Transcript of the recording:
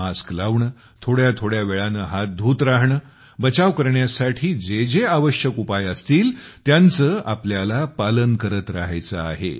mask लावणे थोड्या थोड्या वेळाने हात धूत राहणे बचाव करण्यासाठी जे जे जरुरी उपाय असतील त्यांचे आपल्याला पालन करत राहायचे आहे